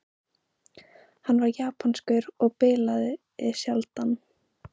Hann var japanskur og bilaði sjaldan.